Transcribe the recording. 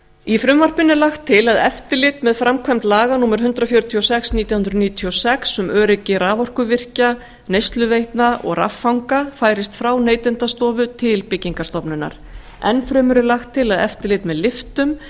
í frumvarpinu er lagt til að eftirlit með framkvæmd laga númer hundrað fjörutíu og sex nítján hundruð níutíu og sex um öryggi raforkuvirkja neysluveitna og raffanga færist frá neytendastofu til byggingarstofnunar enn fremur er lagt til að eftirlit með lyftum